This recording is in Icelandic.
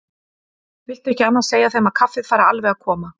Viltu ekki annars segja þeim að kaffið fari alveg að koma.